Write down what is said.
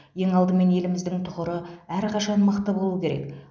ең алдымен еліміздің тұғыры әрқашан мықты болуы керек